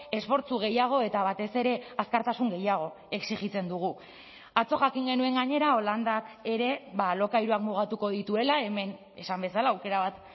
esfortzu gehiago eta batez ere azkartasun gehiago exijitzen dugu atzo jakin genuen gainera holandak ere alokairuak mugatuko dituela hemen esan bezala aukera bat